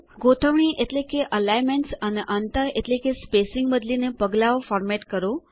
ગોઠવણી એટલે કે એલિગ્નમેન્ટ્સ અને અંતર એટલે કે સ્પેસિંગ બદલીને પગલાંઓ ફોર્મેટ કરો